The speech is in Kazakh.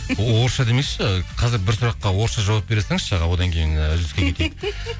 орысша демекші қазір бір сұраққа орысша жауап бере салыңызшы аға одан кейін і үзіліске кетейік